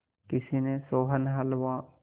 किसी ने सोहन हलवा